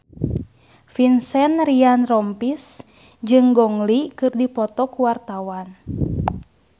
Vincent Ryan Rompies jeung Gong Li keur dipoto ku wartawan